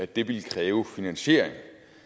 det ville kræve finansiering